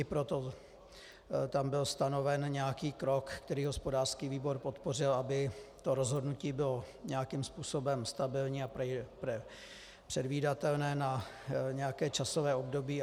I proto tam byl stanoven nějaký krok, který hospodářský výbor podpořil, aby to rozhodnutí bylo nějakým způsobem stabilní a předvídatelné na nějaké časové období.